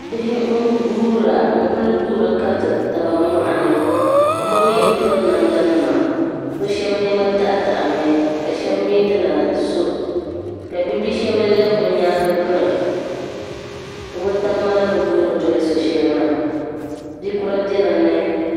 Bihi n guura n-kuli guuri kariti tab mɔɣini bi mi bi piri namda. nima bi shab nema daɣi daɣimi, ka shab mi dina sɔ ka bishab lebi bi nyaaŋgi biri bi tab maa ni guuri. doli sɔ shɛli maa.